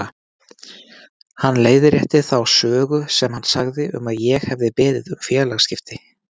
Hann leiðrétti þá sögu sem hann sagði að ég hefði beðið um félagaskipti.